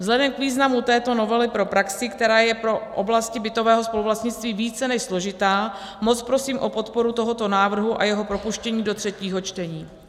Vzhledem k významu této novely pro praxi, která je pro oblasti bytového spoluvlastnictví více než složitá, moc prosím o podporu tohoto návrhu a jeho propuštění do třetího čtení.